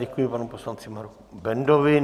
Děkuji panu poslanci Marku Bendovi.